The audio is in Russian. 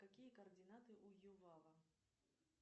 какие координаты у ювава